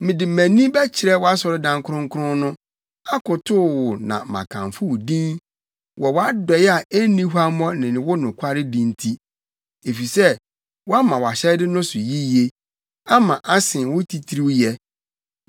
Mede mʼani bɛkyerɛ wʼasɔredan kronkron no, akotow wo na makamfo wo din wɔ wʼadɔe a enni huammɔ ne wo nokwaredi nti, efisɛ woama wʼahyɛde no so yiye; ama asen wo titiriwyɛ.